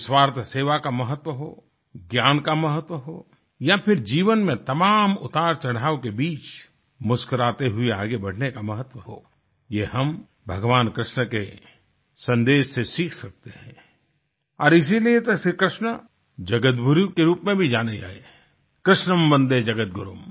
निस्वार्थ सेवा का महत्व हो ज्ञान का महत्व हो या फिर जीवन में तमाम उतारचढ़ाव के बीच मुस्कुराते हुए आगे बढ़ने का महत्व हो ये हम भगवान कृष्ण के सन्देश से सीख सकते हैं और इसीलिये तो श्रीकृष्ण जगतगुरु के रूप में भी जाने गए हैं कृष्णं वन्दे जगद्गुरुम